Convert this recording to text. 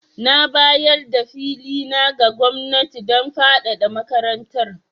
Na bayar da fili na ga gwamnati don fadada makarantar.